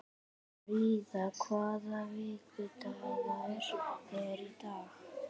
Fríða, hvaða vikudagur er í dag?